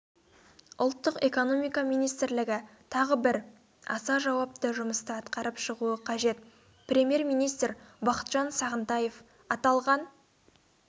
ұлттық экономика министрлігі тағы бір аса жауапты жұмысты атқарып шығуы қажет премьер-министр бақытжан сағынтаев аталған